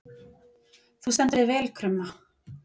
Þú stendur þig vel, Krumma!